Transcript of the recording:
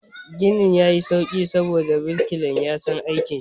Ginin ya yi sauƙi saboda birkilan ya san aikin shi.